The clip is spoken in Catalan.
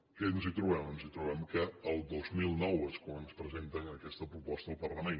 què ens trobem ens trobem que el dos mil nou és quan ens presenten aquesta proposta al parlament